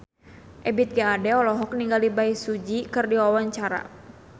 Ebith G. Ade olohok ningali Bae Su Ji keur diwawancara